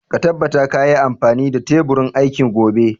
Ka tabbata ka yi amfani da teburin aiki gobe